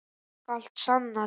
Þú skalt sanna til.